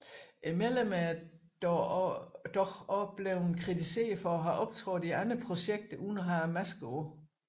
Medlemmerne er dog også blevet kritiseret for at have optrådt i andre projekter uden at have maskerne på